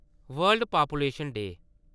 world population day